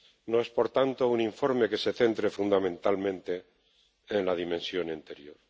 No es, por tanto, un informe que se centre fundamentalmente en la dimensión interior.